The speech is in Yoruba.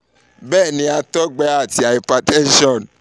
bẹẹni àtọgbẹ ati hypertension